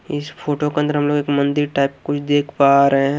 इस फोटो के अंदर हम लोग एक मंदिर टाइप कुझ देख पा रहे हैं।